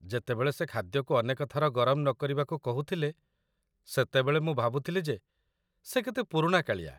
ଯେତେବେଳେ ସେ ଖାଦ୍ୟକୁ ଅନେକ ଥର ଗରମ ନ କରିବାକୁ କହୁଥିଲେ ସେତେବେଳେ ମୁଁ ଭାବୁଥିଲି ଯେ ସେ କେତେ ପୁରୁଣାକାଳିଆ।